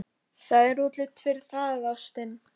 Það er útlit fyrir það, ástin.